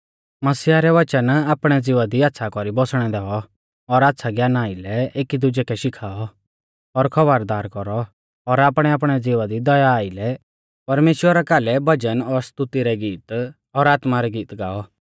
मसीहा रै वचन आपणै ज़िवा दी आच़्छ़ा कौरी बौसणै दैऔ और आच़्छ़ै ज्ञाना आइलै एकी दुजै कै शिखाऔ और खौबरदार कौरौ और आपणैआपणै ज़िवा दी दया आइलै परमेश्‍वरा कालै भजन और स्तुति रै गीत और आत्मा रै गीत गाऔ